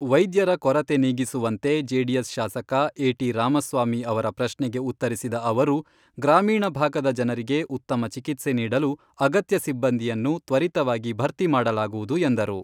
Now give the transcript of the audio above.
ವೈದ್ಯರ ಕೊರತೆ ನೀಗಿಸುವಂತೆ ಜೆಡಿಎಸ್ ಶಾಸಕ ಎ.ಟಿ. ರಾಮಸ್ವಾಮಿ ಅವರ ಪ್ರಶ್ನೆಗೆ ಉತ್ತರಿಸಿದ ಅವರು, ಗ್ರಾಮೀಣ ಭಾಗದ ಜನರಿಗೆ ಉತ್ತಮ ಚಿಕಿತ್ಸೆ ನೀಡಲು ಅಗತ್ಯ ಸಿಬ್ಬಂದಿಯನ್ನು ತ್ವರಿತವಾಗಿ ಭರ್ತಿ ಮಾಡಲಾಗುವುದು ಎಂದರು.